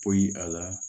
Poyi a la